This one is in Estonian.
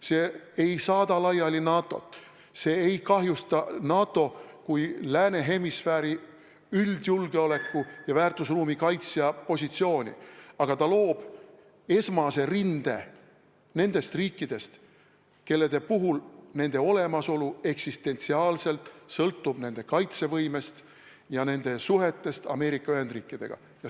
See ei saada laiali NATO-t, see ei kahjusta NATO kui lääne hemisfääri üldjulgeoleku ja väärtusruumi kaitsja positsiooni, aga ta loob esmase rinde nendest riikidest, kelle olemasolu eksistentsiaalselt sõltub nende kaitsevõimest ja nende suhetest Ameerika Ühendriikidega.